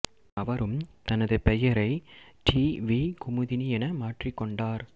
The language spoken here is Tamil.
அவரும் தனது பெயரை டி வி குமுதினி என மாற்றிக் கொண்டார்